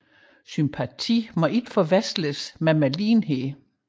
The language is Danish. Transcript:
Sympatien må ikke forveksles med medlidenhed